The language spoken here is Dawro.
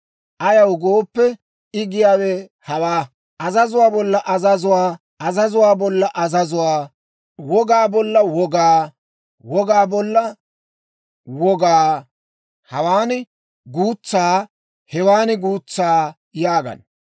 Ayaw gooppe, I giyaawe hawaa; azazuwaa bolla azazuwaa, azazuwaa bolla azazuwaa, wogaa bolla wogaa, wogaa bolla wogaa, hawaan guutsaa, hewan guutsaa» yaagana.